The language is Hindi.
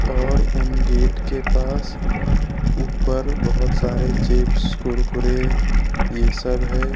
और उन गेट के पास ऊपर बहोत सारे चिप्स कुरकुरे ये सब है।